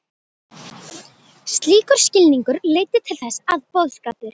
Slíkur skilningur leiddi til þess að boðskapur